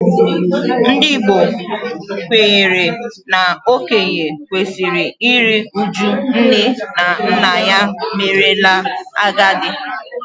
Ndị Igbo kwenyere na okenye kwesịrị iru uju nne na nna merela agadi